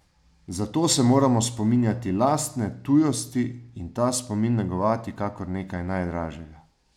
Zato se moramo spominjati lastne tujosti in ta spomin negovati kakor nekaj najdražjega.